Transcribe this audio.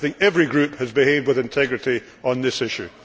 I think every group has behaved with integrity on this issue.